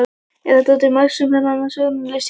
Er þetta til marks um annan stjórnunarstíl hjá þér?